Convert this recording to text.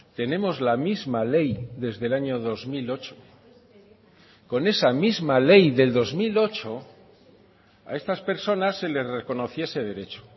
tenemos la misma ley desde el año dos mil ocho con esa misma ley del dos mil ocho a estas personas se les reconociese derecho